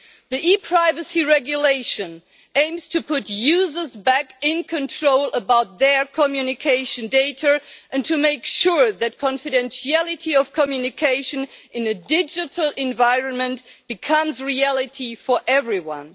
The ePrivacy Regulation aims to put users back in control of their communication data and to make sure that confidentiality of communication in a digital environment becomes a reality for everyone.